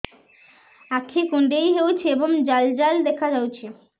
ଆଖି କୁଣ୍ଡେଇ ହେଉଛି ଏବଂ ଜାଲ ଜାଲ ଦେଖାଯାଉଛି